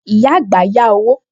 Ìyá àgbà yá owó